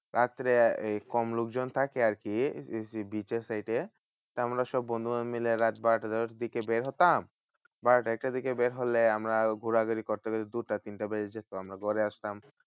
রাত্রে এই কম লোকজন থাকে আরকি beach এর side এ। তা আমরা সব বন্ধুরা মিলে রাত বারোটার দিকে বের হতাম। বারোটা একটার দিকে বের হলে আমরা ঘোরাঘুরি করতে করতে দুটা তিনটা বেজে যেত। আমরা ঘরে আসতাম